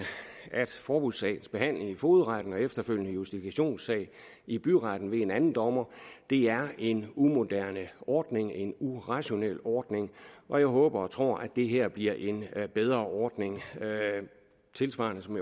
at forbudssagsbehandlingen i fogedretten og efterfølgende justifikationssagen i byretten med en anden dommer er en umoderne ordning en urationel ordning og jeg håber og tror at det her bliver en bedre ordning tilsvarende som